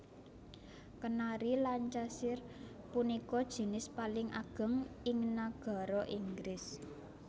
Kenari Lancashire punika jinis paling ageng ing nagara Inggris